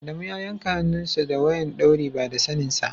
Adamu ya yanka hannun sa da wayan dauri ba da sanen sa.